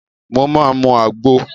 Mo máa mu àgbo.